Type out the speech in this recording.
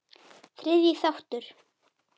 Þriðji þáttur